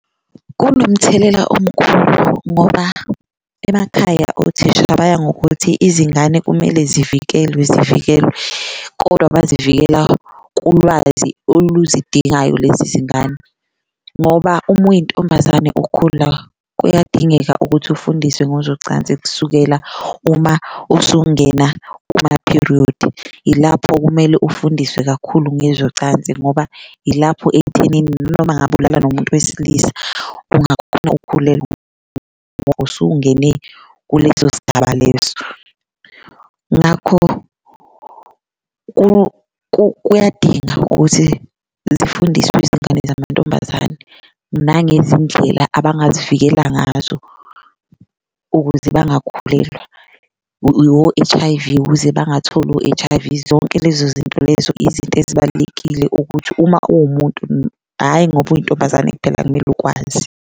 Kunomthelela omkhulu ngoba emakhaya othisha baya ngokuthi izingane kumele zivikelwe zivikelwe kodwa bazivikela kulwazi oluzidingakayo lezi zingane, ngoba uma uyintombazane ukhula kuyadingeka ukuthi ufundiswe ngozocansi kusukela uma usungena kuma-period. Ilapho kumele ufundiswe kakhulu ngezocansi ngoba ilapho ekuthenini noma ngabe ulala nomuntu wesilisa ungakhona ukhulelwa usuke ungene kuleso sigaba leso, ngakho kuyadinga ukuthi zifundiswe izingane zamantombazane. Nangezindlela abangazivikela ngazo ukuze abangakhulelwa, wo-H_I_V ukuze bangatholi o-H_I_V zonke lezo zinto lezo izinto ezibalulekile ukuthi uma uwumuntu, hhayi ngoba uyintombazane kuphela kumele ukwazi.